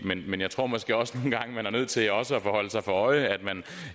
men jeg tror måske også nogle gange man er nødt til også at holde sig for øje at man